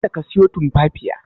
Kada ka siyo Tumfafiya.